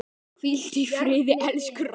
Hvíldu í friði, elsku Ragga.